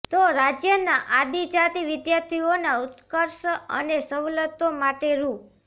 તો રાજયના આદિજાતિ વિદ્યાર્થીઓના ઉત્કર્ષ અને સવલતો માટે રૂ